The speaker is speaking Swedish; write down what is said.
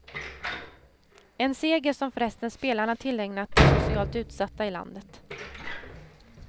En seger som förresten spelarna tillägnat de socialt utsatta i landet.